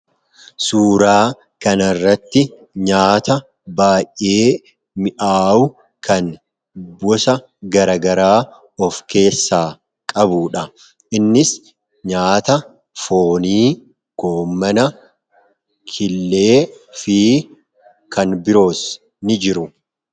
suuraa kanirratti nyaata baay'ee mi'aawu kan bosa garagaraa of keessaa qabudha innis nyaata foonii koomana killee fi kan biroos ni jiru.